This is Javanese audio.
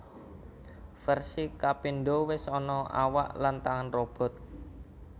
Versi kapindo wis ana awak lan tangan robot